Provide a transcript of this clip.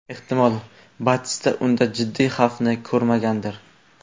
Ehtimol, Batista unda jiddiy xavfni ko‘rmagandir.